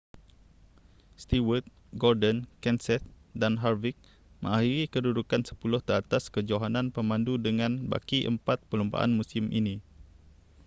stewart gordon kenseth dan harvick mengakhiri kedudukan sepuluh teratas kejohanan pemandu dengan baki empat perlumbaan musim ini